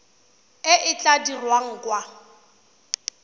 e e tla dirwang kwa